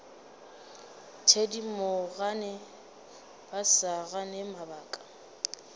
thedimogane ba sa gane mabaka